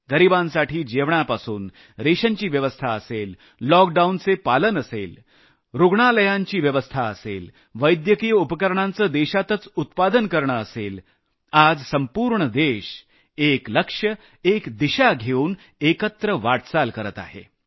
गरिबांसाठी जेवणापासून रेशनची व्यवस्था असेल लॉकडाऊनचे पालन असेल रूग्णालयांमध्ये व्यवस्था असेल वैद्यकीय उपकरणांचं देशातच उत्पादन असेल आज संपूर्ण देश एक लक्ष्य एक दिशा घेऊन एकत्र वाटचाल करत आहे